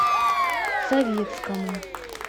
советскому